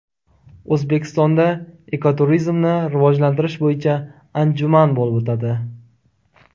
O‘zbekistonda ekoturizmni rivojlantirish bo‘yicha anjuman bo‘lib o‘tadi.